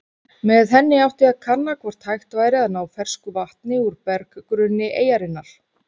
Með henni átti að kanna hvort hægt væri að ná fersku vatni úr berggrunni eyjarinnar.